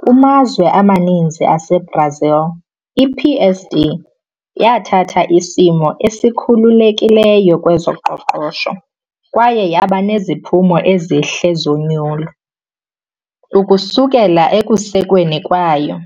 Kumazwe amaninzi aseBrazil, iPSD yathatha isimo esikhululekileyo kwezoqoqosho kwaye yaba neziphumo ezihle zonyulo. Ukususela ekusekweni kwayo,